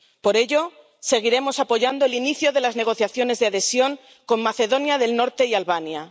Por ello, seguiremos apoyando el inicio de las negociaciones de adhesión con Macedonia del Norte y Albania.